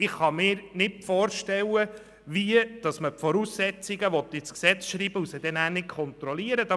Ich kann mir nicht vorstellen, wie man Voraussetzungen ins Gesetz schreiben will, die man anschliessend nicht kontrollieren kann.